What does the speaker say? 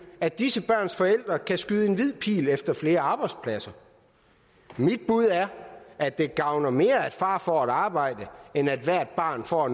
at disse børns forældre kan skyde en hvid pil efter flere arbejdspladser mit bud er at det gavner mere at far får et arbejde end at hvert barn får